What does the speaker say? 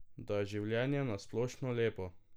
Da je življenje na splošno lepo.